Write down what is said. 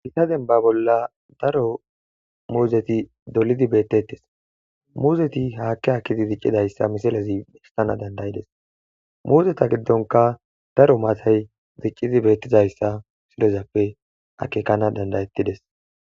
Gita denba bolla daro muuzeti dolidi beettettes, muuzeti haakki akkidi diccidayssa misilezi istana dandayides, muuzeta giddonka daro maatay diccidi beettizayssa misilezappe akekana dandayettides.